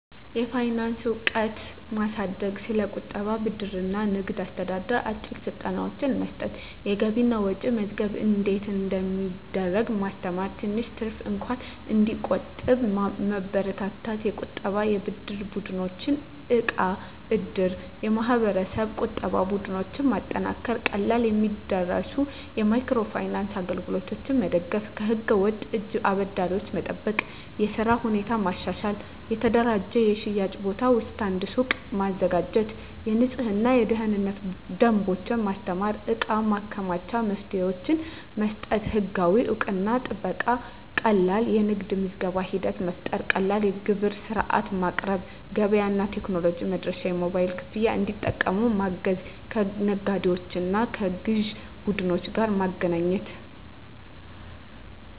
የፋይናንስ እውቀት ማሳደግ ስለ ቁጠባ፣ ብድር እና ንግድ አስተዳደር አጭር ስልጠናዎች መስጠት የገቢና ወጪ መመዝገብ እንዴት እንደሚደረግ ማስተማር ትንሽ ትርፍ እንኳን እንዲቆጠብ መበረታታት የቁጠባና የብድር ቡድኖች (እቃብ/እድር ) የማህበረሰብ ቁጠባ ቡድኖች ማጠናከር ቀላል የሚደርሱ የማይክሮ ፋይናንስ አገልግሎቶች መደገፍ ከህገ-ወጥ እጅ አበዳሪዎች መጠበቅ የሥራ ሁኔታ ማሻሻል የተደራጀ የሽያጭ ቦታ (ስታንድ/ሱቅ) ማዘጋጀት የንፅህናና የደህንነት ደንቦች ማስተማር የእቃ ማከማቻ መፍትሄዎች መስጠት ህጋዊ እውቅናና ጥበቃ ቀላል የንግድ ምዝገባ ሂደት መፍጠር ቀላል የግብር ሥርዓት ማቅረብ ገበያ እና ቴክኖሎጂ መድረሻ የሞባይል ክፍያ እንዲጠቀሙ ማገዝ ከነጋዴዎችና ከግዥ ቡድኖች ጋር ማገናኘት